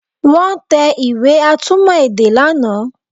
Wọ́n tẹ ìwé atúmọ̀ èdè lánàá